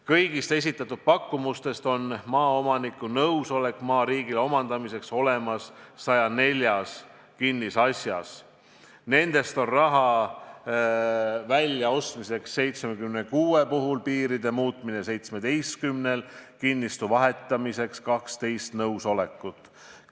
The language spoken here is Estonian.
Kõigist esitatud pakkumustest on maaomaniku nõusolek olemas 104 kinnisasja puhul, maa väljaostmiseks vajaminev raha on olemas 76 kinnisasja puhul, piiride muutmiseks on saadud 17 ja kinnistu vahetamiseks 12 nõusolekut.